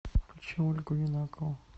включи ольгу юнакову